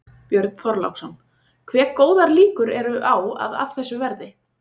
Björn Þorláksson: Hve góðar líkur eru á að af þessu verði?